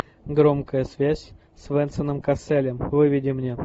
громкая связь с венсаном касселем выведи мне